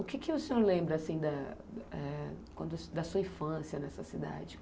O que que o senhor lembra assim da, eh, quando, da sua infância nessa cidade?